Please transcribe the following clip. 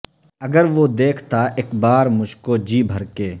اگر وہ دیکھتا اک بار مجھکو جی بھر کے